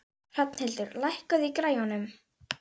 Rafnhildur, lækkaðu í græjunum.